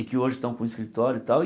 E que hoje estão com escritório e tal.